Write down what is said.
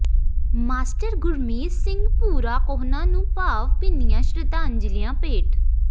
master Gurmej Singh Bhura Kohna ਨੂੰ ਭਾਵ ਭਿੰਨੀਆਂ ਸ਼ਰਧਾਂਜਲੀਆਂ ਭੇਟ